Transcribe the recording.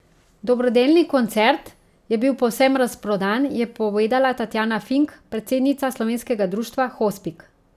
Dobrodelni koncert je bil povsem razprodan, je povedala Tatjana Fink, predsednica Slovenskega društva hospic.